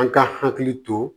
An ka hakili to